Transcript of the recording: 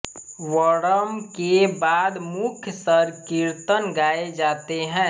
वर्णम के बाद मुख्य संकीर्तन गाये जाते है